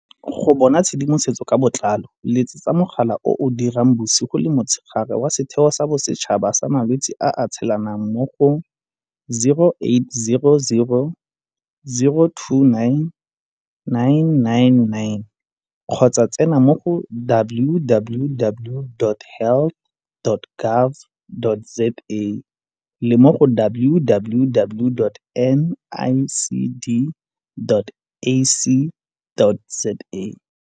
Go bona tshedimosetso ka botlalo letsetsa mogala o o dirang bosigo le motshegare wa Setheo sa Bosetšhaba sa Malwetse a a Tshelanang mo go 0800 029 999 kgotsa tsena mo go www.health.gov.za le mo go www.nicd.ac.za